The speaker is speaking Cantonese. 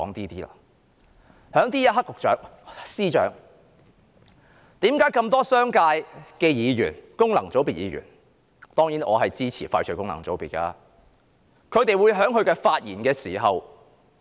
在這一刻，司長，為何從這麼多商界議員及功能界別議員——當然，我支持廢除功能界別——的發言，我們明顯看到他們的憂慮？